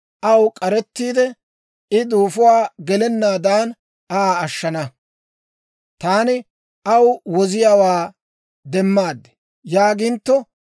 aw k'arettiide, ‹I duufuwaa gelennaadan Aa ashshana. Taani aw woziyaawaa demmaad› yaagintto,